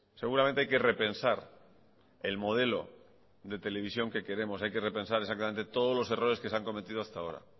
seguramente hay que repensar el modelo de televisión que queremos hay que repensar exactamente todos los errores que se han cometido hasta ahora